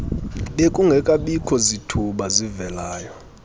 bekungekabikho zithuba zivelayo